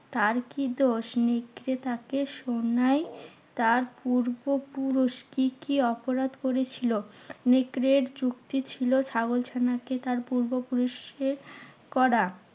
তার কি দোষ? নেকড়ে তাকে শোনায় তার পূর্বপুরুষ কি কি অপরাধ করেছিল? নেকড়ের যুক্তি ছিল, ছাগল ছানাকে তার পূর্বপুরুষের করা